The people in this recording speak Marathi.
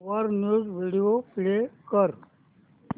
वर न्यूज व्हिडिओ प्ले कर